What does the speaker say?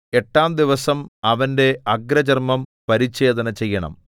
എട്ടാം ദിവസം അവന്റെ അഗ്രചർമ്മം പരിച്ഛേദന ചെയ്യണം